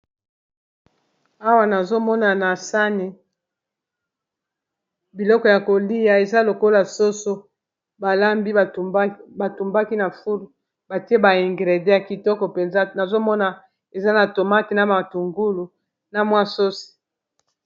Awa nazomona na sane biloko ya kolia eza lokola soso balambi batumbaki na fule batie baingrede ya kitoko, mpenza nazomona eza na tomate na matungulu na mwa sosi